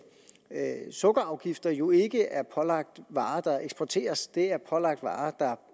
at sukkerafgifter jo ikke er pålagt varer der eksporteres de er pålagt varer der